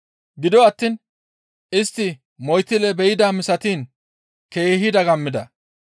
Gido attiin istti moytille be7idaa misatiin keehi dagammida.